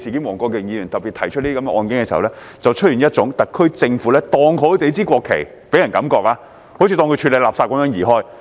黃國健議員特別提出的個案所給人的感覺是，特區政府把市民的國旗好像處理垃圾般移開。